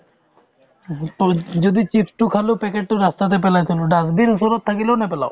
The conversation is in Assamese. উহু তল যদি chips তো খালো packet তো ৰাস্তাতে পেলাই থলো dustbin ওচৰত থাকিলেও নেপেলাও